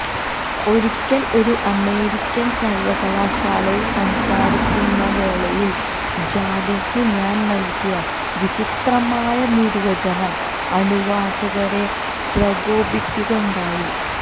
ഒരിക്കല് ഒരു അമേരിക്കന് സര്വ്വകലാശാലയില് സംസാരിക്കുന്ന വേളയില് ജാതിക്ക് ഞാന് നല്കിയ വിചിത്രമായ നിര്വചനം അനുവാചകരെ പ്രകോപിപ്പിക്കുകയുണ്ടായി